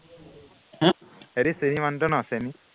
সিহঁতি মানুহটো ন চেনি